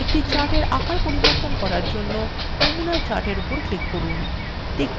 একটি chartfor আকার পরিবর্তন করার জন্য নমুনা chart for উপর click করুন